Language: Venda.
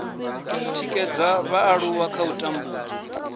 tikedza vhaaluwa kha u tambudzwa